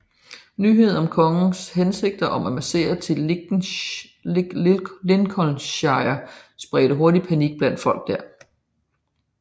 Nyheden om kongens hensigt om at marchere til Lincolnshire spredte hurtigt panik blandt folk der